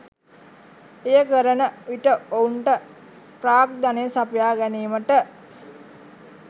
එය කරන විට ඔවුන්ට ප්‍රාග්ධනය සපයා ගැනීමට